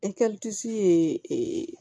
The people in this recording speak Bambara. ye ee